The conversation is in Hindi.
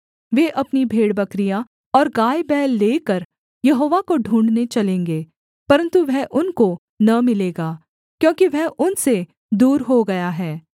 वे अपनी भेड़बकरियाँ और गायबैल लेकर यहोवा को ढूँढ़ने चलेंगे परन्तु वह उनको न मिलेगा क्योंकि वह उनसे दूर हो गया है